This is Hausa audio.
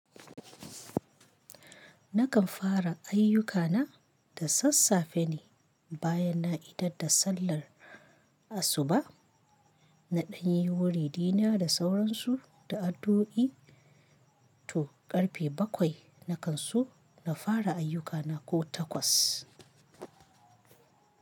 Nakan fara ayyukana da sassafe ne, bayan na idar da sallar asuba, na ɗanye wurina da sauransu da addu'i, to ƙarfe bakwai na kan su na fara ayyukana ko takwas.